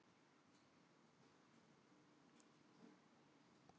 Hvaða skilaboð eru þetta frá manni sem stjórnar landinu?